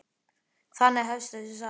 Þannig hefst þessi saga.